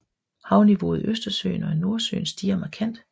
Havniveauet i Østersøen og Nordsøen stiger markant